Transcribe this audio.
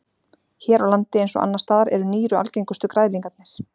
Hér á landi eins og annars staðar eru nýru algengustu græðlingarnir.